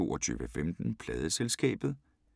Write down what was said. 22:15: Pladeselskabet